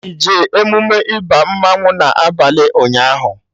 Ị jee emume ịba mmanwụ na abalị ụnyaahụ?